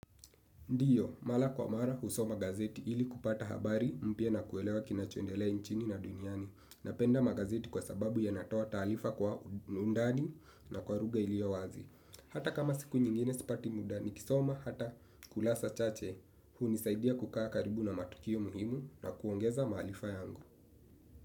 Ndiyo, mara kwa mara husoma gazeti ili kupata habari mpya na kuelewa kinachondelea nchini na duniani. Napenda magazeti kwa sababu yanatoa taarifa kwa undani na kwa lugha iliyo wazi. Hata kama siku nyingine sipati muda nikisoma hata kurasa chache. Hunisaidia kukaa karibu na matukio muhimu na kuongeza maarifa yangu.